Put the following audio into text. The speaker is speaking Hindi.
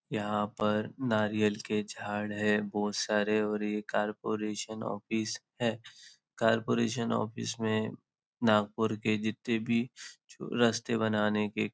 यहाँ पर नारियल के झाड़ है बहुत सारे और यह कॉरपोरेशन ऑफिस है कॉरपोरेशन ऑफिस में नागपुर के जितने भी रस्ते बनाने के --